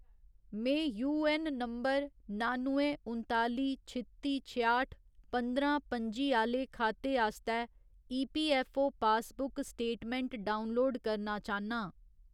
में UAN number नानुएं उन्ताली छित्ती छेआठ पंदरां पं'जी आह्‌ले खाते आस्तै ईपीऐफ्फओ पासबुक स्टेटमैंट डाउनलोड करना चाह्न्नां